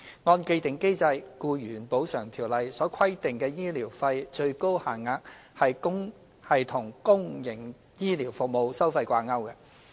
按既定機制，《僱員補償條例》所規定的醫療費最高限額是與公營醫療服務收費掛鈎。